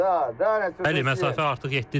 Bəli, məsafə artıq 7-dir.